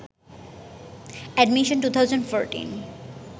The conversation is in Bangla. এডমিশন 2014